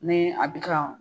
Ni a bɛ ka